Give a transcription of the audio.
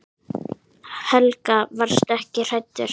Helga: Varstu ekkert hræddur?